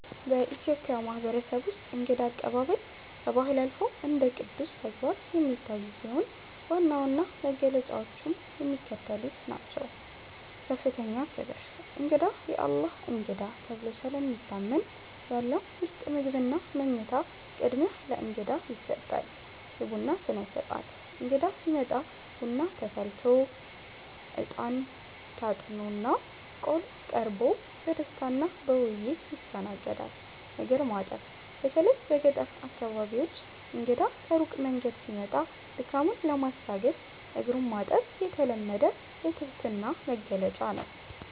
በኢትዮጵያ ማህበረሰብ ውስጥ እንግዳ አቀባበል ከባህል አልፎ እንደ ቅዱስ ተግባር የሚታይ ሲሆን፣ ዋና ዋና መገለጫዎቹም የሚከተሉት ናቸው፦ ከፍተኛ ክብር፦ እንግዳ "የአላህ እንግዳ" ተብሎ ስለሚታመን፣ ያለው ምርጥ ምግብና መኝታ ቅድሚያ ለእንግዳ ይሰጣል። የቡና ሥነ-ሥርዓት፦ እንግዳ ሲመጣ ቡና ተፈልቶ፣ አጥንት (እጣን) ታጥኖና ቆሎ ቀርቦ በደስታና በውይይት ይስተናገዳል። እግር ማጠብ፦ በተለይ በገጠር አካባቢዎች እንግዳ ከሩቅ መንገድ ሲመጣ ድካሙን ለማስታገስ እግሩን ማጠብ የተለመደ የትህትና መግለጫ ነው።